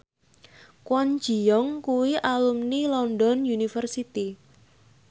Kwon Ji Yong kuwi alumni London University